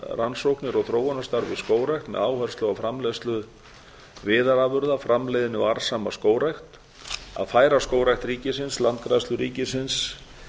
rannsóknir og þróunarstarf í skógrækt með áherslu á framleiðslu viðarafurða framleiðni og arðsama skógrækt b færa skógrækt ríkisins landgræðslu ríkisins